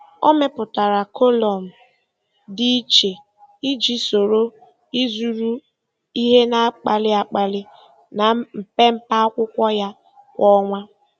Ọ mepụtara kọlụm dị iche iji soro ịzụrụ ihe na-akpali akpali na mpempe akwụkwọ ya kwa ọnwa.